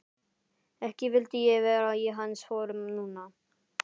Ekki vildi ég vera í hans sporum núna.